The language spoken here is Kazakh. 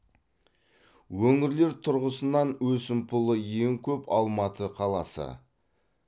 өңірлер тұрғысынан өсімпұлы ең көп алматы қаласы